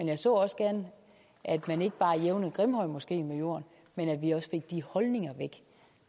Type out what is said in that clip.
jeg så også gerne at man ikke bare jævnede grimhøjmoskeen med jorden men at vi også fik de holdninger væk